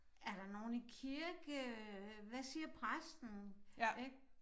Er der nogen i kirke øh hvad siger præsten ik